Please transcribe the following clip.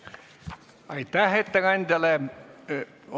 Aitäh ettekandjale!